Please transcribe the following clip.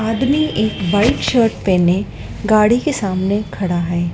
आदमी एक white shirt पेहने गाड़ी के सामने खड़ा है।